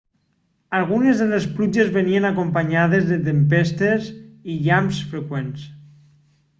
algunes de les pluges venien acompanyades de tempestes i llamps freqüents